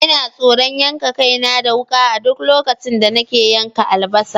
Ina tsoron yanka kaina da wuka a duk lokacin da nake yanka albasa.